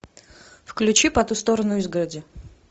включи по ту сторону изгороди